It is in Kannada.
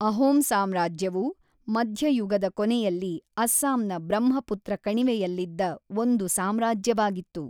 ಅಹೋಮ್ ಸಾಮ್ರಾಜ್ಯವು ಮಧ್ಯಯುಗದ ಕೊನೆಯಲ್ಲಿ ಅಸ್ಸಾಂನ ಬ್ರಹ್ಮಪುತ್ರ ಕಣಿವೆಯಲ್ಲಿದ್ದ ಒಂದು ಸಾಮ್ರಾಜ್ಯವಾಗಿತ್ತು.